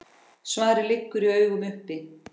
Svarið liggur í augum uppi.